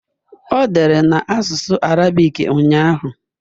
O dere na asụsụ Arabik ụnyahụ